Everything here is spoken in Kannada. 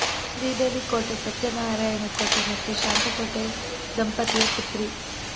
ಶ್ರೀದೇವಿ ಕೋಟೆ ಸತ್ಯನಾರಾಯಣ ಕೋಟೆ ಮತ್ತು ಶಾಂತ ಕೋಟೆ ದಂಪತಿಯ ಪುತ್ರಿ